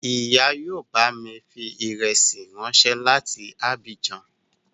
Ìyá yóò bámi fi ìrẹsí ráńṣẹ́ láti Abijan